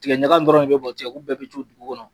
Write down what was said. Tigɛ ɲaga in dɔrɔn de bi bɔn tigɛ kun bɛɛ bi to dugu kɔnɔ.